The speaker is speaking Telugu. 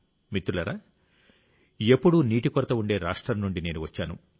మిత్రులారా ఎప్పుడూ నీటి కొరత ఉండే రాష్ట్రం నుండి నేను వచ్చాను